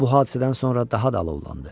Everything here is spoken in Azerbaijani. Bu hadisədən sonra daha da alovlandı.